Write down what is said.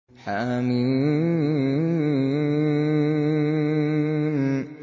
حم